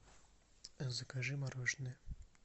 закажи мороженое